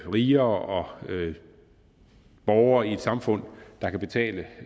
rigere som borgere i et samfund der kan betale